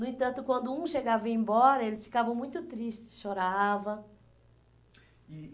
No entanto, quando um chegava e ia embora, eles ficavam muito tristes, choravam. E